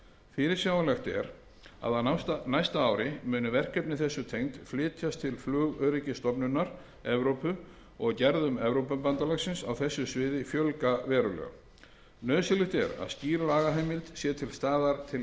fyrirsjáanlegt er að á næsta ári muni verkefni þessu tengd flytjast til flugöryggisstofnunar evrópu og gerðum evrópubandalagsins á þessu sviði fjölga verulega nauðsynlegt er að skýr lagaheimild sé til staðar til